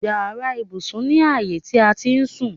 Yàrá ibùsùn ni ààyè ti a ti ń sùn.